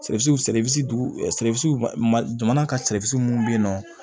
jamana ka mun be yen nɔ